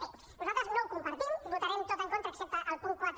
bé nosaltres no ho compartim ho votarem tot en contra excepte el punt quatre